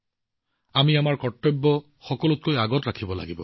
আমি আমাৰ কৰ্তব্যবোৰ সন্মুখত ৰাখিব লাগিব